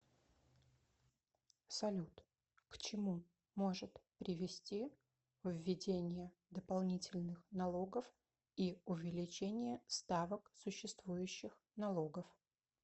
салют к чему может привести введение дополнительных налогов и увеличение ставок существующих налогов